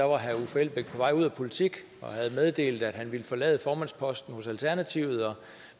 var herre uffe elbæk på vej ud af politik og havde meddelt at han ville forlade formandsposten hos alternativet og